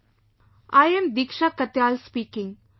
"I am Diksha Katiyal speaking